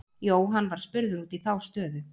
Jóhann var spurður út í þá stöðu.